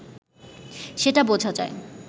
সেটা বোঝা যায়